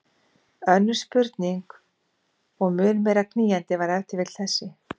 Önnur spurning og mun meira knýjandi var ef til vill þessi